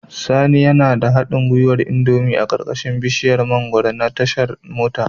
Sani yana da haɗin gwiwar indomie a ƙarƙashin bishiyar mangwaro a tashar mota